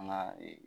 An ka ee